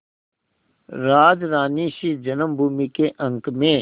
राजरानीसी जन्मभूमि के अंक में